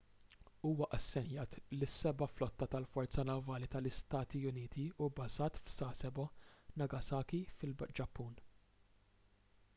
huwa assenjat lis-seba' flotta tal-forza navali tal-istati uniti u bbażat f'sasebo nagasaki fil-ġappun